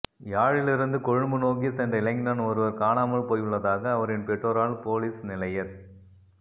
யாழிலிருந்து கொழும்பு நோக்கி சென்ற இளைஞன் ஒருவர் காணாமல் போயுள்ளதாக அவரின் பெற்றோரால் பொலிஸ் நிலையத்